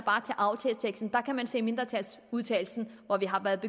aftaleteksten for der kan man se i mindretalsudtalelsen at vi har været